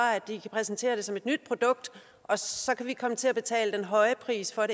at de kan præsentere den som et nyt produkt og så kan vi komme til at betale den høje pris for